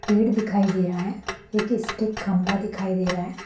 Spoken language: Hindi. पेड़ दिखाई दे रहा है एक स्टीक खम्भा दिखाई दे रहा है।